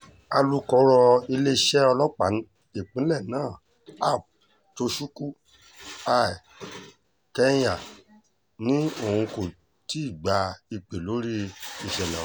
alūkọ̀rọ̀ iléeṣẹ́ ọlọ́pàá ìpínlẹ̀ náà ap tochukwu i kenya ni òun kò ti gba ìpè lórí ìṣẹ̀lẹ̀ ọ̀hún